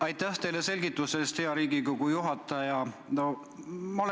Aitäh teile selgituse eest, hea istungi juhataja!